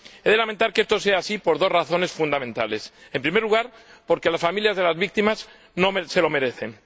He de lamentar que esto sea así por dos razones fundamentales en primer lugar, porque las familias de las víctimas no se lo merecen